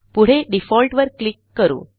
पुढे डिफॉल्ट वर क्लिक करू